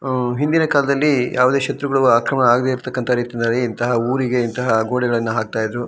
ಅಅಂ ಹಿಂದಿನ ಕಾಲ್ದಲ್ಲಿ ಯಾವ್ದೇ ಶತ್ರು ಗಳು ಆಕ್ರಮಣ ಆಗ್ದೇ ಇರ್ತಕಂತ ರೀತಿಯಲ್ಲಿ ಇಂತಹ ಊರಿಗೆ ಇಂತಹ ಗೋಡೆಗಳಿಗೆ ಹಾಕ್ತಾ ಇದ್ರು.